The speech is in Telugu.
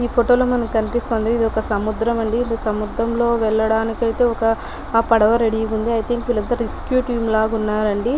ఈ ఫోటో లో మనకు కనిపిస్తుంది ఇదొక సముద్రం అండి. ఇ సముద్రం లో వెళ్ళడానికి అయితే ఓక పడవ రెఢీ గా ఉంది అయితే ఇంకా వీళ్ళంతా రెస్క్యూ టీం లాగా ఉన్నారండీ.